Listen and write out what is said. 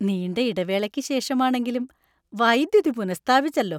നീണ്ട ഇടവേളയ്ക്ക് ശേഷമാണെങ്കിലും വൈദ്യുതി പുനഃസ്ഥാപിച്ചല്ലോ.